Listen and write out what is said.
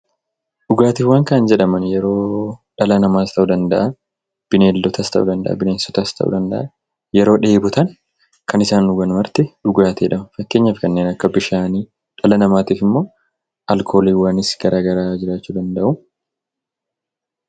Dhugaatiiwwan jechuun dhalli namaa yookiin beneensonni yeroo dheebotan kan isaan dhugan dhugaatii jedhama. Fakkeenyaaf bishaan dhala namaaf immoo alkooliis ta'uu danda'a.